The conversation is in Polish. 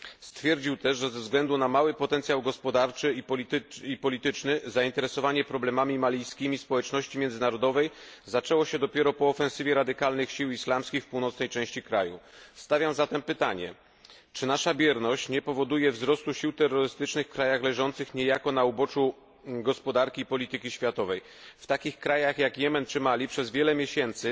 Stwierdził też, że ze względu na mały potencjał gospodarczy i polityczny zainteresowanie problemami malijskimi społeczności międzynarodowej zaczęło się dopiero po ofensywie radykalnych sił islamskich w północnej części kraju. Stawiam zatem pytanie czy nasza bierność nie powoduje wzrostu sił terrorystycznych w krajach leżących niejako na uboczu gospodarki i polityki światowej? W takich krajach jak Jemen czy Mali przez wiele miesięcy